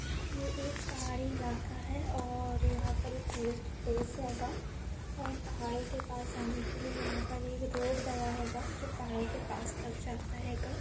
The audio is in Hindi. ये एक पहाड़ी इलाका है और यहाँ पर एक टूरिस्ट प्लेस हेंगा और पहाड़ो पास आने के लिया यहाँ पर एक रोड गया हेंगा जो पहाड़ो के पास तक जाता हेंगा।